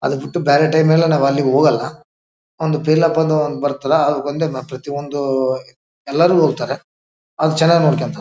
ಅಲ್ಲಿಗ್ ಬಿಟ್ಟು ಬೇರೆ ಟೈಮ್ ಎಲ್ಲ ನಾವಲ್ಲಿ ಹೋಗಲ್ಲ ಒಂದು ಪೀಲೂಪ್ ಅಂತ ಬರತಲ್ಲ ಅದಕೊಂಡ್ ಪ್ರತಿಯೊಂದು ಎಲ್ಲರು ಹೋಗ್ತಾರೆ ಅವಾಗ್ ಚೆನ್ನಾಗಿ ನೋಡ್ಕೊಂತಾರೆ .